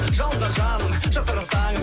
жылдар жаным